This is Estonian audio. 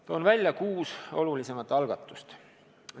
Toon välja kuus olulisemat algatust.